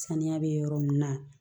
Saniya bɛ yɔrɔ min na